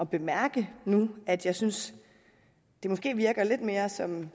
bemærke nu at jeg synes det måske virker lidt mere som